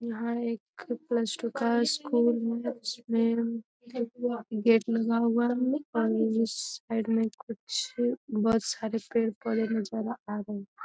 यहाँ एक plus two का स्कूल गेट लगा हुआ है और साइड मे कुछ बहुत सारे पेड़-पौधे नजर आ रहे है।